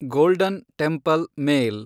golden Temple mail